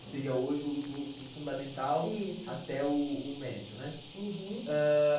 Que seria hoje o do do fundamental, isso, até o o o médio, né? Uhum. Ãh.